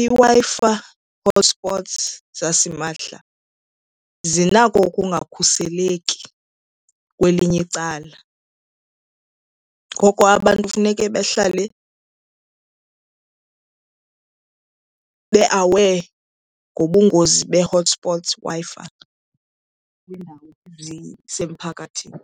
iWi-Fi hotspots zasimahla zinako ukungakhuseleki kwelinye icala. Ngoko abantu funeke bahlale be-aware ngobungozi bee-hotspots Wi-Fi kwiindawo ezisemphakathini.